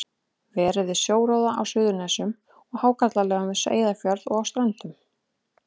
Verið við sjóróðra á Suðurnesjum og í hákarlalegum við Eyjafjörð og á Ströndum.